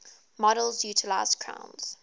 models utilise crown's